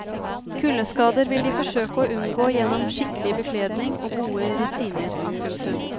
Kuldeskader vil de forsøke å unngå gjennom skikkelig bekledning og gode rutiner. punktum